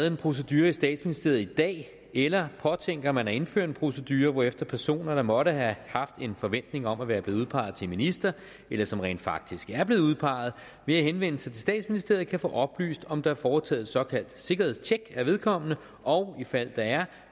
en procedure i statsministeriet i dag eller påtænker man at indføre en procedure hvorefter personer der måtte have haft en forventning om at være blevet udpeget til minister eller som rent faktisk er blevet udpeget ved at henvende sig til statsministeriet kan få oplyst om der er foretaget et såkaldt sikkerhedstjek af vedkommende og i fald der er